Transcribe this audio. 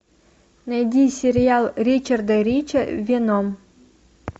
найди сериал ричарда рича веном